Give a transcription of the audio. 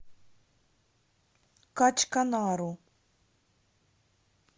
качканару